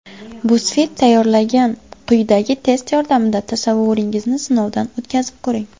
BuzzFeed tayyorlagan quyidagi test yordamida tasavvuringizni sinovdan o‘tkazib ko‘ring!